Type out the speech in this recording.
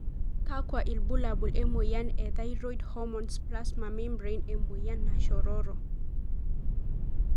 Kakwa ilbulabul emoyian e thyroid hormones plasma membrane emoyian nashororo?